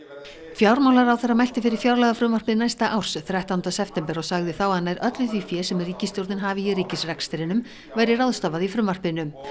fjármálaráðherra mælti fyrir fjárlagafrumvarpi næsta árs þrettánda september og sagði þá að nær öllu því fé sem ríkisstjórnin hafi í ríkisrekstrinum væri ráðstafað í frumvarpinu